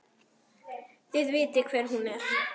Þið vitið hver hún er!